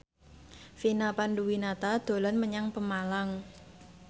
Vina Panduwinata dolan menyang Pemalang